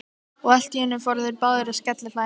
Og allt í einu fóru þeir báðir að skellihlæja.